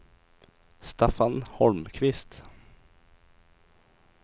Staffan Holmqvist